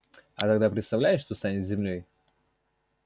а тогда представляешь что станет с землёй